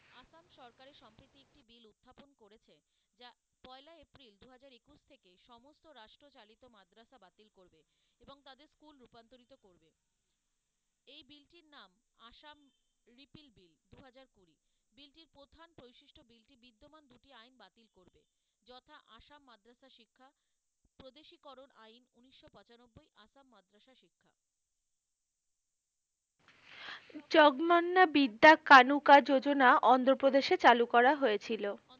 চকমান্য বিদ্যা কানুকা যোজনা অন্ধ্রপ্রদেশে চালু করা হয়েছিল,